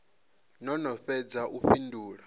no no fhedza u fhindula